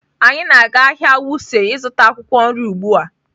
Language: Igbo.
Anyị na-aga ahịa Wuse ịzụta akwụkwọ nri ugbu a.